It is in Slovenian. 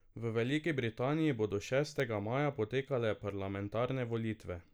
V Veliki Britaniji bodo šestega maja potekale parlamentarne volitve.